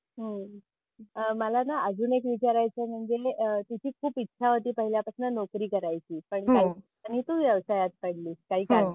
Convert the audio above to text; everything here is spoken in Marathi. हम्म अहं मला ना अजून एक विचारायच म्हणजे कि तुझी खूप इच्छा होती पहिल्या पासून नोकरी करायची हो पण व्यवसायात पडलीस काही कारणास्तव.